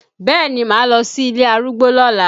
Bẹẹ ni, máa lọ sí ilé arúgbó lọ́la